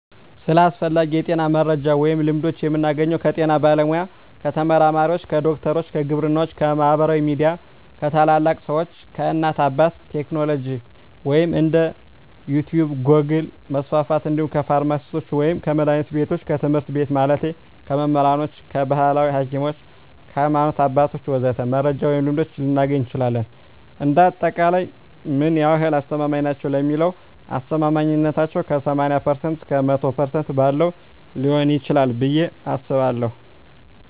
ስለ አስፈላጊ የጤና መረጃ ወይም ልምዶች የምናገኘው ከጤና ባለሙያ፣ ከተመራማሪዎች፣ ከዶክተሮች፣ ከግብርናዎች፣ ከማህበራዊ ሚዲያ፣ ከታላላቅ ሰዎች፣ ከእናት አባት፣ ከቴክኖሎጂ ወይም እንደ ዩቲቭ ጎግል% መስፍፍት እንዲሁም ከፍርማሲስቶች ወይም ከመድሀኒት ቢቶች፣ ከትምህርት ቤት ማለቴ ከመምህራኖች፣ ከባህላዊ ሀኪሞች፣ ከሀይማኖት አባቶች ወዘተ..... መረጃ ወይም ልምዶች ልናገኝ እንችላለን። እንደ አጠቃላይ ምን ያህል አስተማማኝ ናቸው ለሚለው አስተማማኝነታው ከ80% እስከ 100% ባለው ሊሆን ይችላል ብየ አስባለሁ።